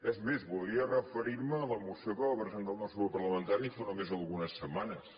és més voldria referir me a la moció que va presentar el nostre grup parlamentari fa només algunes setmanes